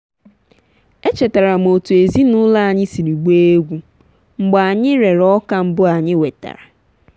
echetara m otú ezinụlọ anyị siri gbaa egwu mgbe anyị rere ọka mbụ anyị wetara.